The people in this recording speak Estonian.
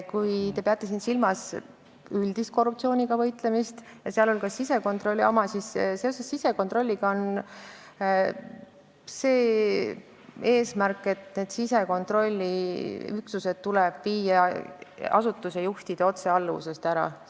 Kui te peate silmas üldist korruptsiooniga võitlemist, sh sisekontrolli tegevust, siis sisekontrolliüksused tuleb viia asutuste juhtide otsealluvusest ära.